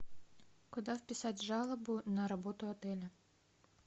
куда вписать жалобу на работу отеля